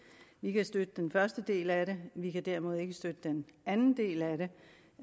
vi kan støtte den første del af det vi kan derimod ikke støtte den anden del af det